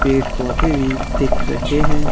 पेड़ पौधे वी दिख रहें हैं।